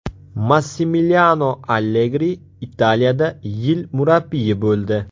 Massimiliano Allegri Italiyada yil murabbiyi bo‘ldi.